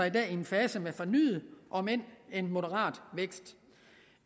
i en fase med fornyet om end moderat vækst